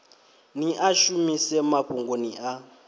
ni a shumise mafhungoni a